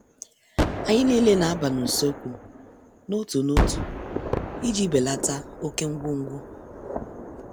Anyị nile na- aba n' uso ekwu n' otu n' otu iji belata oké ngwo ngwo.